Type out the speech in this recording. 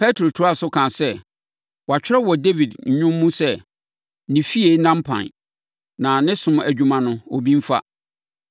Petro toaa so kaa sɛ, “Wɔatwerɛ wɔ Dawid nnwom mu sɛ, “ ‘Ne efie nna mpan, na ne som adwuma no, obi mfa.’